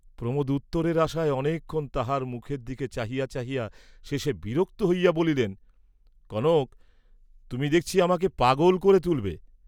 প্রমোদ উত্তরের আশায় অনেক ক্ষণ তাহার মুখের দিকে চাহিয়া চাহিয়া শেষে বিরক্ত হইয়া বলিলেন, কনক তুমি দেখছি আমাকে পাগল ক’রে তুলবে?